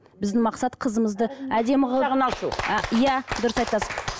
біздің мақсат қызымызды әдемі қылып иә дұрыс айтасыз